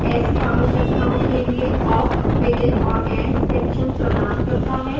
ऐसी आवश्यकताओं के लिए awk begin और end sections प्रदान करता है